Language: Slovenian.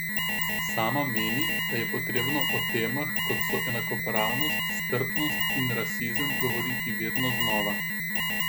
Sama meni, da je potrebno o temah, kot so enakopravnost, strpnost in rasizem, govoriti vedno znova.